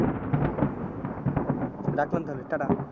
হম রাখলাম তাহলে tata